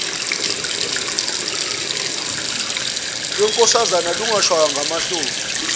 lwenkosazana lungashaywa ngamahloni